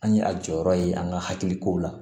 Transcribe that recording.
An ye a jɔyɔrɔ ye an ka hakiliko la